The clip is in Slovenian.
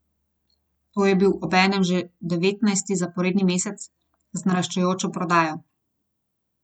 To je bil obenem že devetnajsti zaporedni mesec z naraščajočo prodajo.